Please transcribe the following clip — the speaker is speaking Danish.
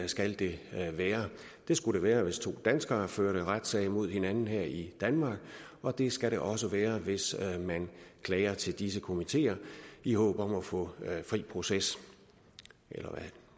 skal det være det skulle det være hvis to danskere førte retssag mod hinanden her i danmark og det skal det også være hvis man klager til disse komiteer i håb om at få fri proces eller